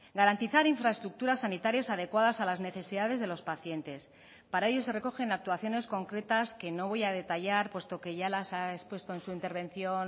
garantizar infraestructuras sanitarias adecuadas a las necesidades de los pacientes para ello se recogen actuaciones concretas que no voy a detallar puesto que ya las ha expuesto en su intervención